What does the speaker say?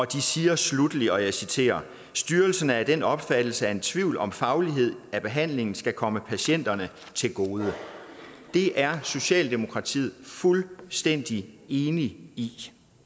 de siger sluttelig og jeg citerer styrelsen er af den opfattelse at en tvivl om faglighed af behandlingen skal komme patienterne til gode det er socialdemokratiet fuldstændig enig i